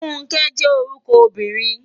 Funke jè órúkò óbìrín